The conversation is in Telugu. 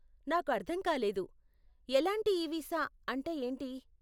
నాకు అర్ధం కాలేదు 'ఎలాంటి ఈ వీసా' అంటే ఏంటి?